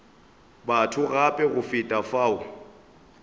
batho gape go feta fao